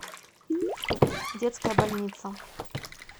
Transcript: детская больница